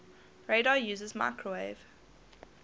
radar uses microwave